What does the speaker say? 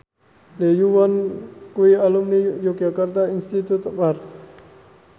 Lee Yo Won kuwi alumni Yogyakarta Institute of Art